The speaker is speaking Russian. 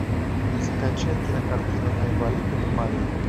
закачай кинокартину айболит и бармалей